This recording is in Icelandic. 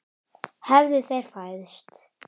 Hefðu þeir fæðst.